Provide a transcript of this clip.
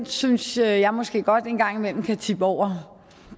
synes jeg måske godt en gang imellem kan tippe over